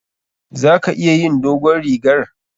Za ka iya yin dogon rigar?